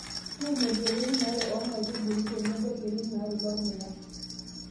tuuno irkererin are oonkaitubulu tenebo irkererin aare lormuya